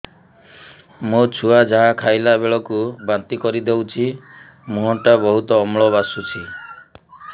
ମୋ ଛୁଆ ଯାହା ଖାଇଲା ବେଳକୁ ବାନ୍ତି କରିଦଉଛି ମୁହଁ ଟା ବହୁତ ଅମ୍ଳ ବାସୁଛି